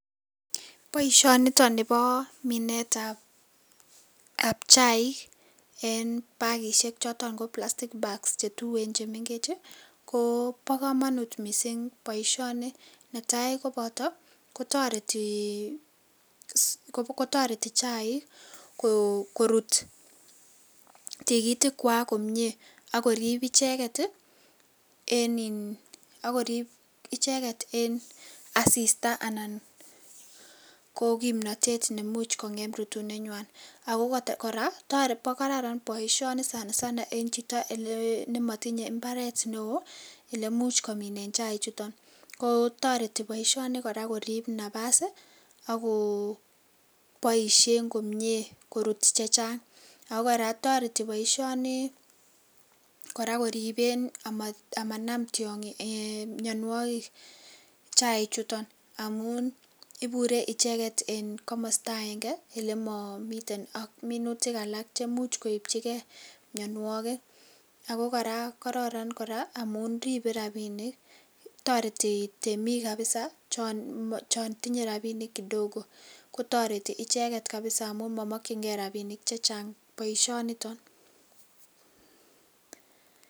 Boisioni bo minet ab chaik en bagisheek chotoon ko plastic bags che tuen chemengeech ii ko bo kamanut missing boisioni, netai kobata ii ko taretii ii ko taretii chaik koruut tikitiik kwaak komyei ako riip ichegeet ii eng eng assista anan ko kimnatet neimuuch kongem rutuneet nywaany ako kora boisioni kora sana sana eng chitoo ne matinyei mbaret ne wooh ele muuch komiteen chaik chutoon ko taretii boisioni kora koriip nafas ii ak Koo boisioni ko taretii koripeen ama tiangiik anan mianwagik chaik chutoon amuun iburee ichegeet en komostaa aenge ii ele mamii teen ak minutik alaak chemuuch koipchigei mianwagik ako kora kororon kora amuun ripen rapinik , taretii temiik kabisa chaan tinye rapinik kidogo kotaretii ichegeet kabisaa amuun mamakyigei rapinik che chaang boisioni nitoon.